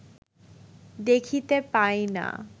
দেখিতে পায় না